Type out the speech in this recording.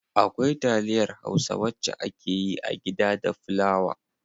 Akwai taliyar hausa wacce akeyi a gida da fulawa.